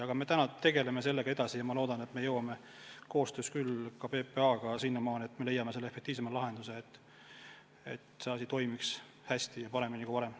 Aga me tegeleme sellega ja ma loodan, et me jõuame koostöös PPA-ga sinnamaani, et me leiame selle efektiivsema lahenduse, et see asi toimiks hästi, paremini kui varem.